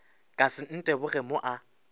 ka se nteboge mo a